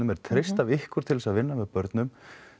er treyst af ykkur til þess að vinna með börnum